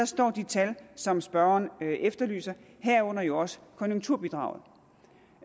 står de tal som spørgeren efterlyser herunder jo også konjunkturbidraget